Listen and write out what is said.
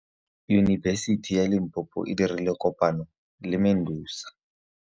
Yunibesiti ya Limpopo e dirile kopanyô le MEDUNSA.